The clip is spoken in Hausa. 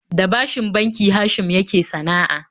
Da bashin banki Hashim yake sana'a